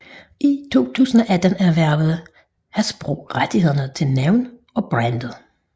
I 2018 erhvervede Hasbro rettighederne til navnene og brandet